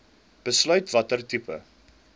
besluit watter tipe